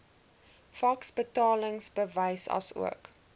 faks betalingsbewys asook